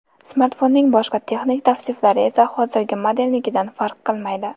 Smartfonning boshqa texnik tavsiflari esa hozirgi modelnikidan farq qilmaydi.